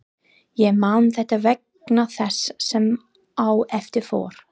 Ég man þetta vegna þess sem á eftir fór.